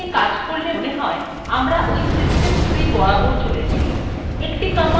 একটি command ব্যবহার করলেই আপনি একটি স্থান থেকে অন্যান্য স্থানে যেতে পারবেন